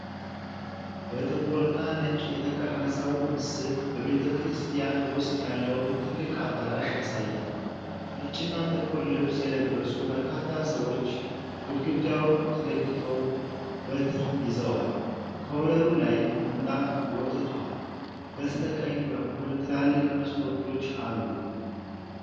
በጥቁርና ነጭ የተቀረጸው ምስል በቤተክርስቲያን ውስጥ ያለውን ትልቅ አዳራሽ ያሳያል። ነጭና ጥቁር ልብስ የለበሱ በርካታ ሰዎች ግድግዳውን ተደግፈው በትር ይዘዋል። ከወለሉ ላይ ምንጣፍ ወጥቷል፤ በስተቀኝ በኩል ትላልቅ መስኮቶች አሉ።